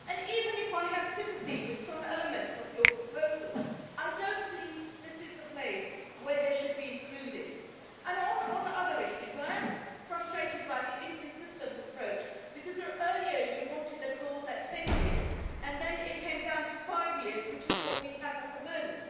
Even if I have sympathy with some elements of your proposals, I do not believe this is the place where they should be included. On other issues, I am frustrated by the inconsistent approach because earlier you wanted a clause at ten years and then it came down to five years, which is what we have at the moment.